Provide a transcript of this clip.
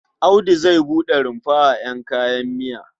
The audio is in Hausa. Audu zai buɗe rumfa a ƴan kayan miya.